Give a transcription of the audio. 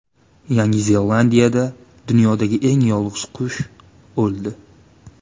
Yangi Zelandiyada dunyodagi eng yolg‘iz qush o‘ldi.